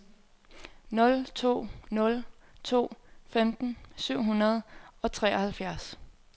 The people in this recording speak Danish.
nul to nul to femten syv hundrede og treoghalvfjerds